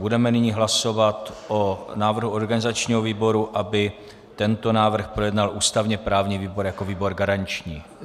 Budeme nyní hlasovat o návrhu organizačního výboru, aby tento návrh projednal ústavně-právní výbor jako výbor garanční.